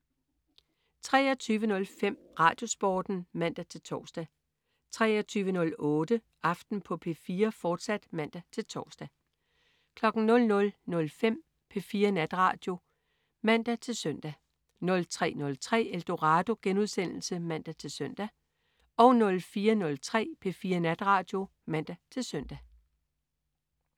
23.05 RadioSporten (man-tors) 23.08 Aften på P4, fortsat (man-tors) 00.05 P4 Natradio (man-søn) 03.03 Eldorado* (man-søn) 04.03 P4 Natradio (man-søn)